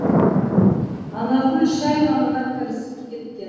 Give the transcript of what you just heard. анаргүл шай қамына кірісіп кеткен